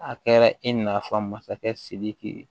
A kɛra i na fɔ masakɛ sidiki